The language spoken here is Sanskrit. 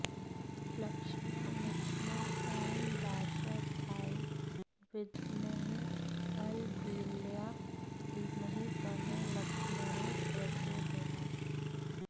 लक्ष्मण लक्ष्मण ॐ दाशरथाय विद्महे अलबेलया धीमहि तन्नो लक्ष्मणः प्रचोदयात्